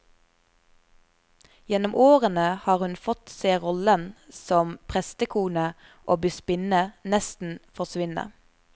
Gjennom årene har hun fått se rollen som prestekone og bispinne nesten forsvinne.